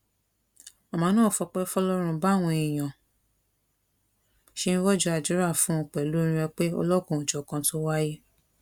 màmá náà fọpẹ fọlọrun báwọn èèyàn ṣe ń rọjò àdúrà fún un pẹlú orin ọpẹ ọlọkanòjọkan tó wáyé